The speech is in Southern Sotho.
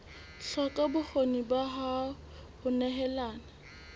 hloka bokgoni ba ho nehelana